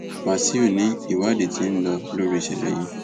wàṣíù ni ìwádìí ti ń lọ lórí ìṣẹlẹ yìí